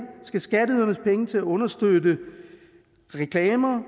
skal skatteydernes penge til at understøtte reklamer